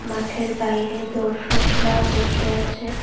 মাঠের বাইরে দর্শকরা বসে আছে।